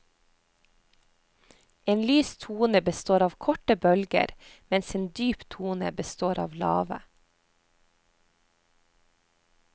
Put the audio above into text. En lys tone består av korte bølger, mens en dyp tone består av lave.